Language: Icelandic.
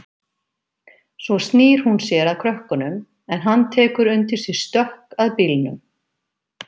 Svo snýr hún sér að krökkunum en hann tekur undir sig stökk að bílnum.